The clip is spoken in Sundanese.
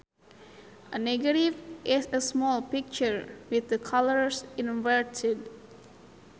A negative is a small picture with the colors inverted